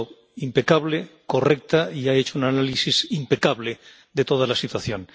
Ha sido impecable, correcta y ha hecho un análisis impecable de toda la situación.